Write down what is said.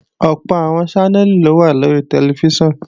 Ọ̀pọ̀ àwọn Ṣánẹ́lì ló wà lórí tẹlifíṣàn